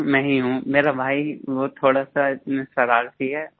सिर्फ मैं ही हूँ मेरा भाई वो थोड़ा सा शरारती है